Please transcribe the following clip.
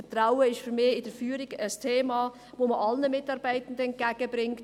Vertrauen ist für mich in der Führung ein Thema, das man allen Mitarbeitenden entgegenbringt.